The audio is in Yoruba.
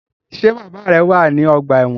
Ṣe bàbá rẹ wá ní ọgbà ẹwọn?